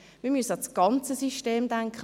Wir müssen an das ganze System denken.